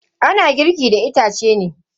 Ana girki akan itace.